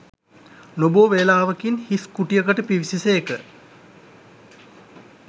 නොබෝ වේලාවකින් හිස් කුටියකට පිවිසි සේක